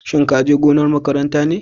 Shin ka je gonar makaranta ne?